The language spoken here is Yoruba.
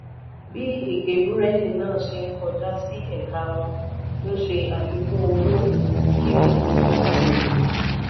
bí ege burẹdi náà se n kọjá sí ẹka wọn n se àfikùn owó kí gbogbo jèrè.